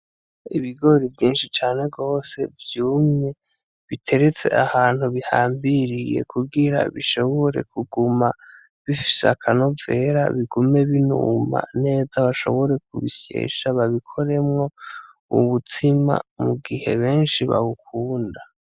Ibigori vyinshi cane gose vyumye, biteretse ahantu bihambiriye kugira bishobore kuguma bifise akanovera, bigume binuma neza, bashobore kubisyesha babikoremwo ubutsima mu gihe benshi babukunda.